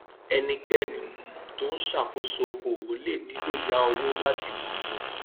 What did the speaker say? ẹnikéni um tó ń ṣàkóso okòòwò lè nílò yá owó láti gbòòrò